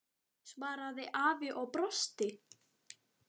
svaraði afi og brosti.